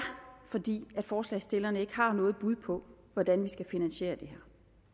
fordi forslagsstillerne ikke har noget bud på hvordan de skal finansiere det